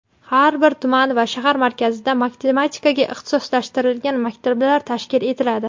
Har bir tuman va shahar markazida matematikaga ixtisoslashtirilgan maktablar tashkil etiladi.